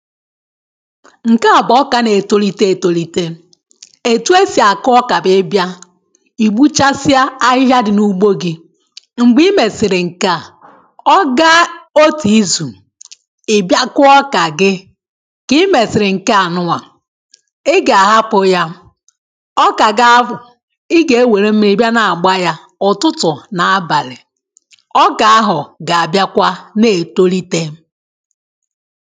Nke a bụ ọka na-etolite etolitè etū e si akụ ọka bụ ị bịà i gbuchasịa ahịhịa dị na ugbo gì mgbe i mesiri nke à ọ gaa otū izu ị bịa kụọ ọka gị ka ị mesiri nke a nụnwà ị ga-ahapụ yà ọka ga abụ ị ga-ewere mmiri bịa na-agba yà ụtụtụ na abalị̀ ọka ahụ̀ ga-abịakwa na-etolite